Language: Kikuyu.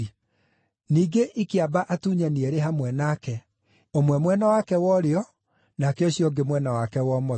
Ningĩ ikĩamba atunyani eerĩ hamwe nake, ũmwe mwena wake wa ũrĩo, nake ũcio ũngĩ mwena wake wa ũmotho.